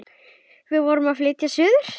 Við vorum að flytja suður.